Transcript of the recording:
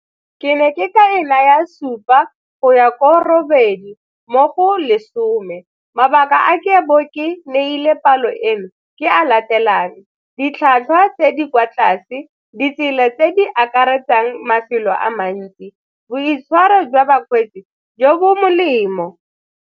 Ke ne ke ka e naya supa go ya ko robedi mo go lesome. Mabaka a ke bo ke neile palo eno ke a latelang, ditlhwatlhwa tse di kwa tlase ditsela tse di akaretsang mafelo a mantsi, boitshwaro jwa bakgweetsi jo bo molemo.